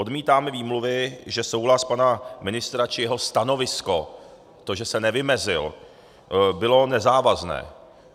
Odmítáme výmluvy, že souhlas pana ministra či jeho stanovisko, to, že se nevymezil, bylo nezávazné.